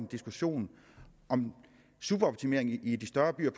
diskussion om superoptimering i de større byer